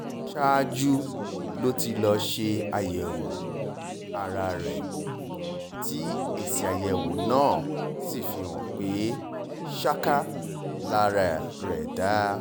ṣáájú ló ti lọ́ọ́ ṣe àyẹ̀wò ara rẹ tí èsì-àyẹ̀wò náà sì fi hàn pé ṣáká lara rẹ dá